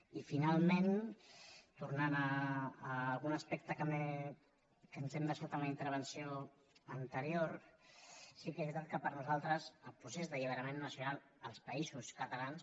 i finalment tornant a algun aspecte que ens hem deixat en la intervenció anterior sí que és veritat que per a nosaltres el procés d’alliberament nacional als països catalans